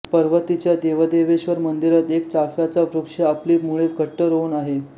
पर्वतीच्या देवदेवेश्वर मंदिरात एक चाफ्याचा वृक्ष आपली मुळे घट्ट रोवून आहे